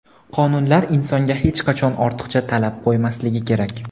qonunlar insonga hech qachon ortiqcha talab qo‘ymasligi kerak.